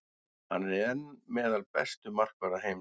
Hann er enn meðal bestu markvarða heims.